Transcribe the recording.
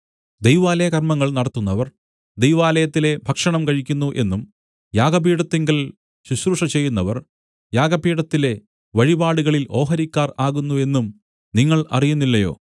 ദൈവാലയകർമ്മങ്ങൾ നടത്തുന്നവർ ദൈവാലയത്തിലെ ഭക്ഷണം കഴിക്കുന്നു എന്നും യാഗപീഠത്തിങ്കൽ ശുശ്രൂഷചെയ്യുന്നവർ യാഗപീഠത്തിലെ വഴിപാടുകളിൽ ഓഹരിക്കാർ ആകുന്നു എന്നും നിങ്ങൾ അറിയുന്നില്ലയോ